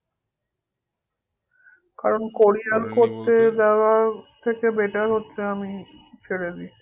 কারণ curior দেওয়ার থেকে better হচ্ছে আমি ছেড়ে দিই